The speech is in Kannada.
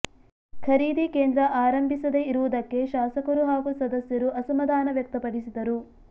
ಖರೀದಿ ಕೇಂದ್ರ ಆರಂಭಿಸದೇ ಇರುವುದಕ್ಕೆ ಶಾಸಕರು ಹಾಗೂ ಸದಸ್ಯರು ಅಸಮಾಧಾನ ವ್ಯಕ್ತಪಡಿಸಿದರು